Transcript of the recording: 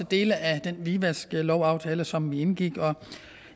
dele af den hvidvaskaftale som vi indgik